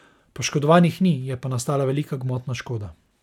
Poškodovanih ni, je pa nastala velika gmotna škoda.